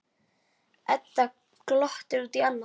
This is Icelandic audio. Edda glottir út í annað.